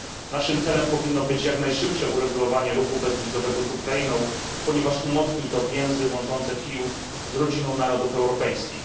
Naszym celem powinno być jak najszybsze uregulowanie ruchu bezwizowego z Ukrainą, ponieważ umocni to więzy łączące Kijów z rodziną narodów europejskich.